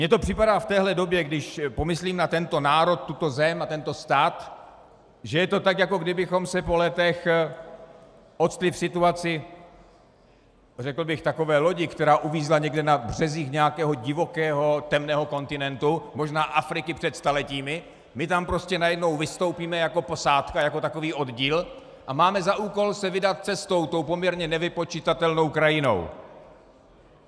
Mně to připadá v téhle době, když pomyslím na tento národ, tuto zem, na tento stát, že je to tak, jako kdybychom se po letech ocitli v situaci řekl bych takové lodi, která uvízla někde na březích nějakého divokého temného kontinentu, možná Afriky před staletími, my tam prostě najednou vystoupíme jako posádka, jako takový oddíl, a máme za úkol se vydat cestou tou poměrně nevypočitatelnou krajinou.